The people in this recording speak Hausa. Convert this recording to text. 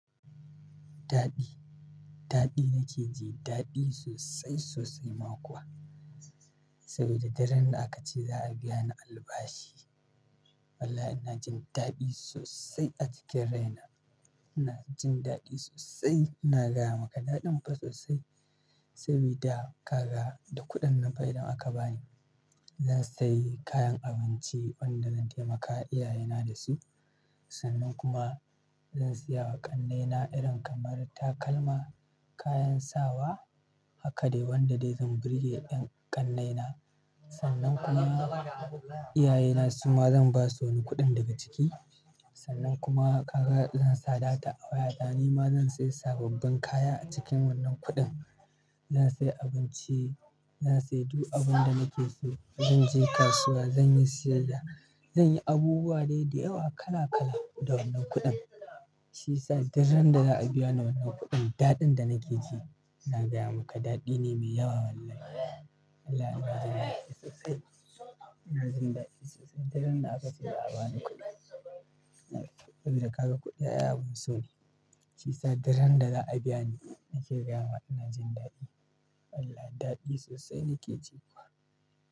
Daɗi, daɗi nake ji, daɗi sosai sosai ma kuwa. Saboda daren da aka ce za a biya ni albashi. Wallahi ina jin daɗi sosai a jikin rai na. Ina jin daɗi sosai. Ina gaya maka daɗin mafa sosai. Sabida kaga da kuɗin nan fa idan da aka bani, zan sayi kayan abinci wanda zan taimaka iyayena da shi. Sannan kuma zan siya wa ƙannena irin kamar takalma, kayan sawa. Haka dai wanda dai zan burge yan ƙannena. Sannan kuma iyayena su ma zan basu wani kuɗin daga ciki. Sannan kuma zansa data a waya ta nima zan saya sababbin kaya acikin wannan kuɗin zan sayi abinci, zan sayi duk abin da nake so. Zanje kasuwa zanyi siyayya zanyi abubuwa dai dayawa kala kala dawan nan kuɗin shiyasa duk ran da za'abiya ni wannan kuɗin daɗin danake ji daɗi ne mai yawa ina gaya ma. Wallahi ina jin daɗi sosai. Ina jin daɗi sosai daren da aka ce za a bani kuɗi. Sabida kaga kuɗi au abun so ne. Shiyasa dak randa za a biya ni nake gaya maka ina jin daɗi. Wallahi daɗi sosai nake ji kuwa.